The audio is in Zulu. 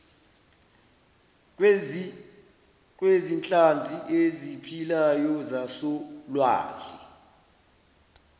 kwezinhlanzi eziphilayo zasolwandle